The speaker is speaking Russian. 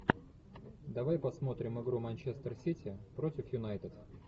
давай посмотрим игру манчестер сити против юнайтед